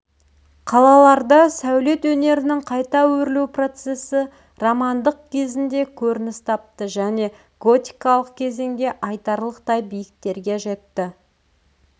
қалаларда сәулет өнерінің қайта өрлеу процесі романдық кезінде көрініс тапты және готикалық кезеңде айтарлықтай биіктерге жетті